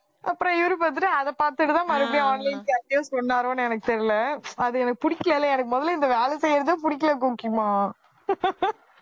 அப்புறம் இவரு பார்த்துட்டு அதை பார்த்துட்டுதான் மறுபடியும் online class க்கே சொன்னாரோன்னு எனக்கு தெரியல அது எனக்கு புடிக்கலை எனக்கு முதல்ல இந்த வேலை செய்யறதே பிடிக்கலை கோக்கிமா